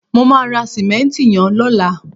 mo ma ra simenti yen lola